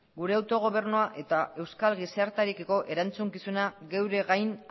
gure autogobernua eta euskal gizartearekiko erantzukizuna geure gain